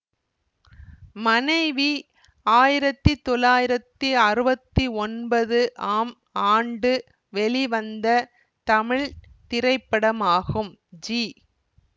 மனைவி ஆயிரத்தி தொள்ளாயிரத்தி அறுவத்தி ஒன்பது ஆம் ஆண்டு வெளிவந்த தமிழ் திரைப்படமாகும் ஜி